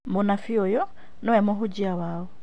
Mũnabii uyu nĩwe mũhunjia wao